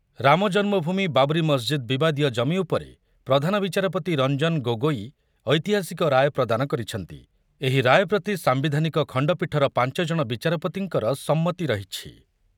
ରାମ ଜନ୍ମଭୂମି, ବାବ୍ରୀ ମସ୍ଜିଦ୍ ବିବାଦୀୟ ଜମି ଉପରେ ପ୍ରଧାନ ବିଚାରପତି ରଞ୍ଜନ ଗୋଗୋଇ ଐତିହାସିକ ରାୟ ପ୍ରଦାନ କରି କହିଛନ୍ତି, ଏହି ରାୟ ପ୍ରତି ସାମ୍ବିଧାନିକ ଖଣ୍ଡପୀଠର ପାଞ୍ଚ ଜଣ ବିଚାରପତିଙ୍କର ସମ୍ମତି ରହିଛି ।